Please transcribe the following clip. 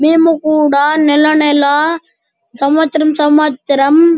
మేము కూడా నెల నెల సంవత్సరం సంవత్సరం --